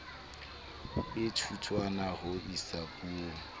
e ithutwang ho isa puong